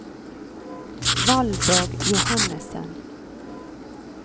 Valborg Johannesen